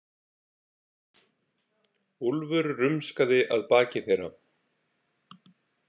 Úlfur rumskaði að baki þeirra.